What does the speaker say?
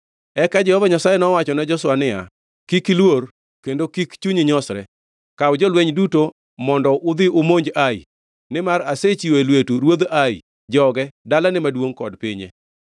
Eka Jehova Nyasaye nowachone Joshua niya, “Kik iluor, kendo kik chunyi nyosre. Kaw jolweny duto mondo udhi umonj Ai, nimar asechiwo e lwetu ruodh Ai, joge, dalane maduongʼ kod pinye.